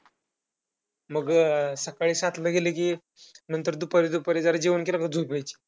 मग सकाळी सातला गेलं कि नंतर दुपारी दुपारी जरा जेवण केलं का झोप यायची.